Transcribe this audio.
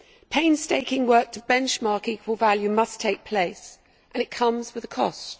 Painstaking work to benchmark equal value must take place and it comes with a cost.